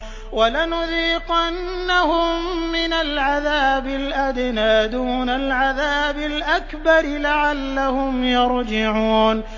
وَلَنُذِيقَنَّهُم مِّنَ الْعَذَابِ الْأَدْنَىٰ دُونَ الْعَذَابِ الْأَكْبَرِ لَعَلَّهُمْ يَرْجِعُونَ